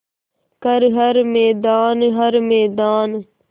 कर हर मैदान हर मैदान